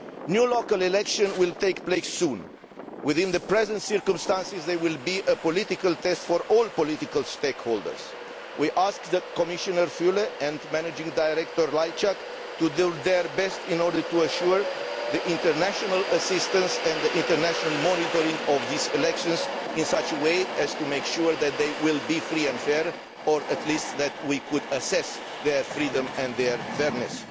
New local elections will take place soon. In the present circumstances, they will be a political test for all political stakeholders. We ask Commissioner Füle and managing director Lajčák to do their best in order to assure international assistance and international monitoring of these elections in such a way as to make sure that they will be free and fair, or at least that we could assess their freedom and their fairness.